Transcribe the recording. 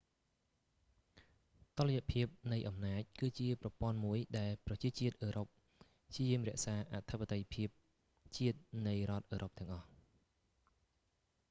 តុល្យភាពនៃអំណាច គឺជាប្រព័ន្ធមួយដែលប្រជាជាតិអឺរ៉ុបព្យាយាមរក្សាអធិបតេយ្យភាពជាតិនៃរដ្ឋអឺរ៉ុបទាំងអស់